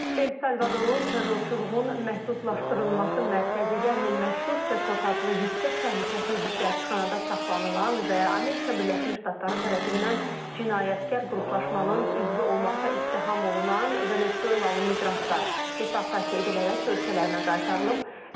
El Salvadorun terrorçuluğun məhdudlaşdırılması mərkəzi, yəni məşhur Sekot adlı yüksək təhlükəsizliklə həbsxanada saxlanılan və Amerika Birləşmiş Ştatları tərəfindən cinayətkar qruplaşmanın üzvü olmaqda ittiham olunan Venezuelalı miqrantlar deportasiya edilərək ölkələrinə qaytarılıb.